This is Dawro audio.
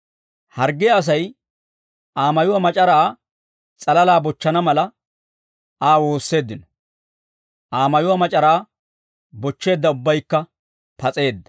Harggiyaa Asay Aa mayuwaa mac'araa s'alalaa bochchana mala, Aa woosseeddino; Aa mayuwaa mac'araa bochcheedda ubbaykka pas'eedda.